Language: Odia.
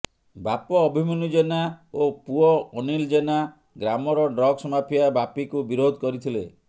ବାପ ଅଭିମନ୍ୟୁ ଜେନା ଓ ପୁଅ ଅନୀଲ ଜେନା ଗ୍ରାମର ଡ଼୍ରଗ୍ସ ମାଫିଆ ବାପି କୁ ବିରୋଧ କରିଥିଲେ